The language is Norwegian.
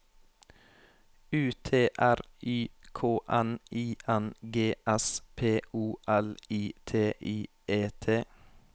U T R Y K N I N G S P O L I T I E T